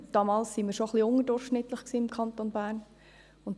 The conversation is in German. Damals waren wir im Kanton Bern bereits etwas unter dem Durchschnitt.